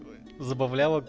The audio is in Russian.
забава